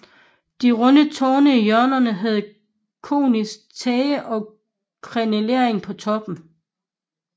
De runde tårne i hjørnerne havde koniske tage og krenellering på toppen